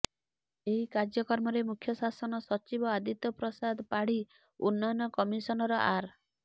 ଏହି କାର୍ଯ୍ୟକ୍ରମରେ ମୁଖ୍ୟ ଶାସନ ସଚିବ ଆଦିତ୍ୟ ପ୍ରସାଦ ପାଢ଼ୀ ଉନ୍ନୟନ କମିସନର ଆର୍